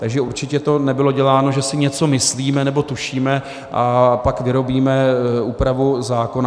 Takže určitě to nebylo děláno, že si něco myslíme nebo tušíme, a pak vyrobíme úpravu zákona.